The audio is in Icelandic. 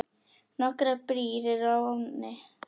Nokkrar brýr eru á ánni.